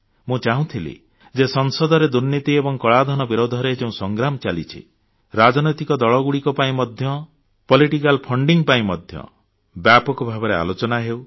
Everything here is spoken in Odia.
ମୁଁ ଚାହୁଁଥିଲି ଯେ ସଂସଦରେ ଦୁର୍ନୀତି ଏବଂ କଳାଧନ ବିରୁଦ୍ଧରେ ଯେଉଁ ସଂଗ୍ରାମ ଚାଲିଛି ରାଜନୈତିକ ଦଳଗୁଡ଼ିକ ପାଇଁ ମଧ୍ୟ ପଲିଟିକାଲ ଫଣ୍ଡିଂ ପାଇଁ ମଧ୍ୟ ବ୍ୟାପକ ଭାବରେ ଆଲୋଚନା ହେଉ